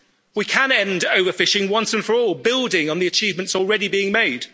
We can end overfishing once and for all, building on the achievements already being made.